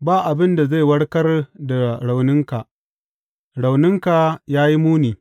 Ba abin da zai warkar da rauninka; rauninka ya yi muni.